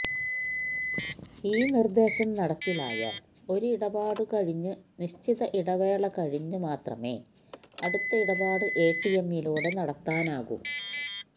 ഈ നിർദ്ദേശം നടപ്പിലായാൽ ഒരു ഇടപാട് കഴിഞ്ഞ് നിശ്ചിത ഇടവേള കഴിഞ്ഞ് മാത്രമേ അടുത്ത ഇടപാട് എടിഎമ്മിലൂടെ നടത്താനാകൂ